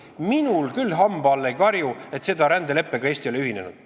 Minul küll hamba all ei karju, et Eesti selle rändeleppega ei ole ühinenud.